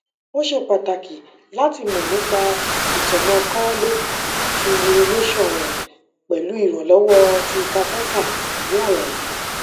ó ṣe pàtàkì láti mọ̀ nípa itanakọọlẹ ti urination rẹ pẹlu iranlọwọ ti catheter ni alaye